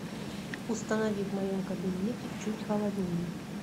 установи в моем кабинете чуть холоднее